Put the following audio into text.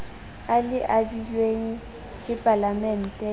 a le abilweng ke palamente